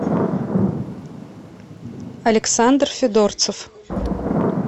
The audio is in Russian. александр федорцев